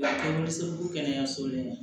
kɛnɛyaso la